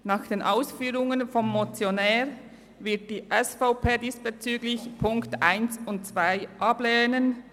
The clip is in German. Nach den Ausführungen des Motionärs wird die SVP die Ziffern 1 und 2 ablehnen.